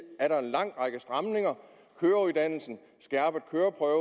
er der en lang række stramninger køreuddannelse skærpet køreprøve